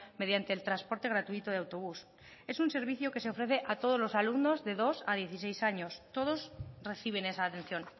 mediante el transporte gratuito de autobús es un servicio que se ofrece a todos los alumnos de dos a dieciséis años todos reciben esa atención